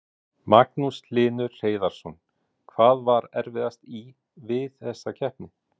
Magnús Hlynur Hreiðarsson: Hvað var erfiðast í, við þessa keppni?